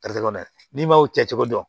n'i m'aw cɛ cogo dɔn